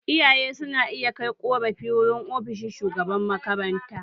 Iyaye su na iya kai ƙorafi wurin ofishin shugaban makaranta